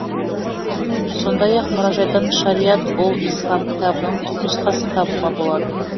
сондай ақ мұражайдан шариат ұл ислам кітабының түпнұсқасын табуға болады